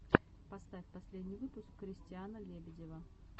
поставь последний выпуск кристиана лебедева